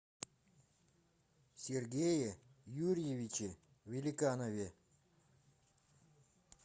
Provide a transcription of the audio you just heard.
сергее юрьевиче великанове